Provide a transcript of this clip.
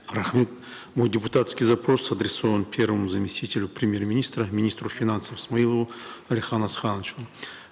рахмет мой депутатский запрос адресован первому заместителю премьер министра министру финансов смаилову алихану асхановичу